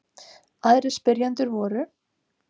Aðrir spyrjendur voru: